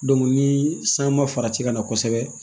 ni san ma farati ka na kosɛbɛ